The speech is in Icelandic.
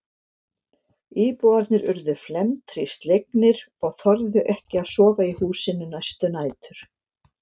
Íbúarnir urðu felmtri slegnir og þorðu ekki að sofa í húsinu næstu nætur.